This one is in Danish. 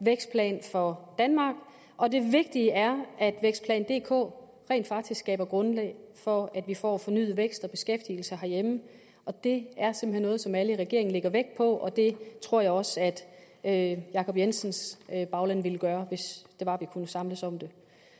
vækstplan for danmark og det vigtige er at vækstplan dk rent faktisk skaber grundlag for at vi får fornyet vækst og beskæftigelse herhjemme det er simpelt hen noget som alle i regeringen lægger vægt på og det tror jeg også at jacob jensens bagland ville gøre hvis det var at kunne samles om det